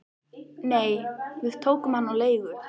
Nei, við tókum hann á leigu